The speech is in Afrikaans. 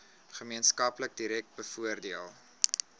gemeenskap direk bevoordeel